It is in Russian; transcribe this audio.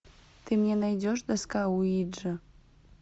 ты мне найдешь доска уиджи